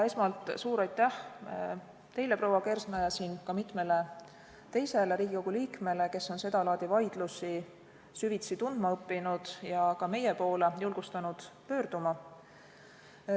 Esmalt, suur aitäh teile, proua Kersna, ja ka mitmele teisele Riigikogu liikmele, kes on seda laadi vaidlusi süvitsi tundma õppinud ja ka meie poole julgustanud pöörduma.